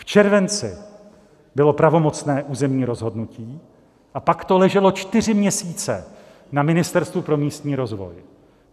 V červenci bylo pravomocné územní rozhodnutí a pak to leželo čtyři měsíce na Ministerstvu pro místní rozvoj.